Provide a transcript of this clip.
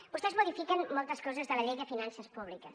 vostès modifiquen moltes coses de la llei de finances públiques